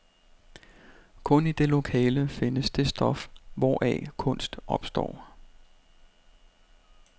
Kun i det lokale findes det stof, hvoraf kunst opstår.